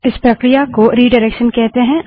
इस प्रक्रिया को रिडाइरेक्शन कहते हैं